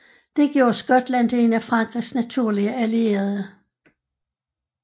Det gjorde Skotland til en af Frankrigs naturlige allierede